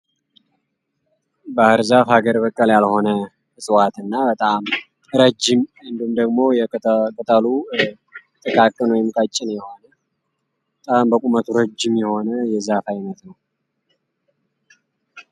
ባህርዛፍ ሀገር በቀል እፀዋት ያልሆነ በጣም ረጅም እንዲሁም ደግሞ ቅጠሉ ቀጫጭን ወይም ጥቃቅን የሆነ በጣም በቁመቱ ረጅም የሆነ የዛፍ አይነት ነው።